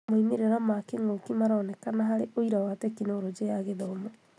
moimĩrĩra ma kĩng'ũki maronekana harĩ ũira wa Tekinoronjĩ ya Gĩthomo.